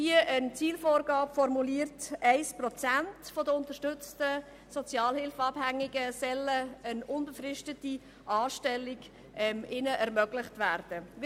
Hier ist die Zielvorgabe so formuliert, dass für 1 Prozent der unterstützten Sozialhilfeabhängigen eine unbefristete Anstellung ermöglicht werden soll.